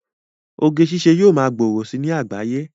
Oge ṣiṣẹ́ yóò ma gbòòrò si ní àgbáyé